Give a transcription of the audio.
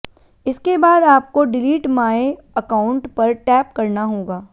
इसके बाद आपको डिलीट माय अकाउंट पर टैप करना होगा